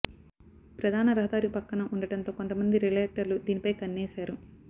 ప్రధాన రహదారి పక్కన ఉండటంతో కొంత మంది రియల్టర్లు దీనిపై కన్నేశారు